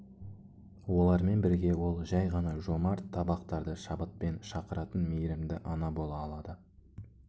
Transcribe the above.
олармен бірге ол жай ғана жомарт табақтарды шабытпен шақыратын мейірімді ана бола алады